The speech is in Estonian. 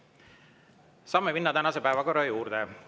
Saame minna tänase päevakorra juurde.